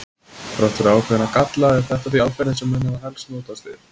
Þrátt fyrir ákveðna galla er þetta því aðferðin sem menn hafa helst notast við.